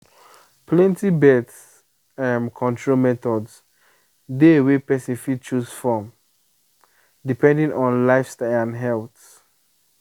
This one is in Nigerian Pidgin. plenty birth um control methods dey wey person fit choose um from depending on lifestyle and health.